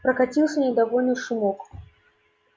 прокатился недовольный шумок